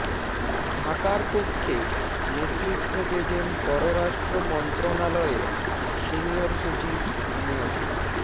ঢাকার পক্ষে নেতৃত্ব দেবেন পররাষ্ট্র মন্ত্রণালয়ের সিনিয়র সচিব মো